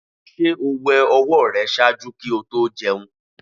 Ṣe o wẹ ọwọ rẹ ṣaaju ki o to jẹun?